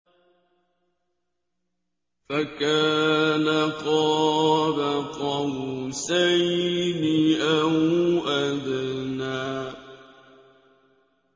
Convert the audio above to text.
فَكَانَ قَابَ قَوْسَيْنِ أَوْ أَدْنَىٰ